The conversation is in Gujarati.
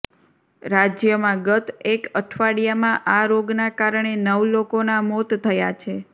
રાજ્યમાં ગત એક અઢવાડિયામાં આ રોગના કારણે નવ લોકોના મોત થયા છે